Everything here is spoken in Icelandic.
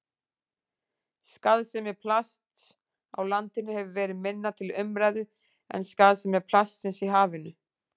Skaðsemi plasts á landi hefur verið minna til umræðu en skaðsemi plastsins í hafinu.